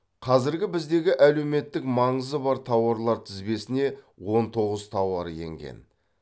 қазір біздегі әлеуметтік маңызы бар тауарлар тізбесіне он тоғыз тауар енген